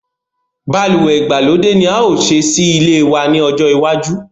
Balùwè ìgbàlódé ni a o ṣe sí ilé wa ní ọjọ́ iwájú